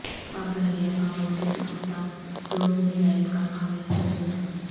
پاک بحریہ کا ملکی ساختہ کروز میزائل کا کامیاب تجربہ